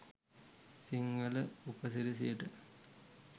සිංහල උපසිරැසියට.